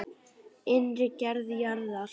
Innri gerð jarðar